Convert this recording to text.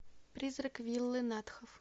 призрак виллы натхов